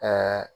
Aa